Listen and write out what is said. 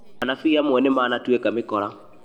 Anabii amwe nĩ manatuĩka mĩkora